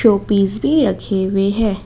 Showpiece भी रखे हुए हैं।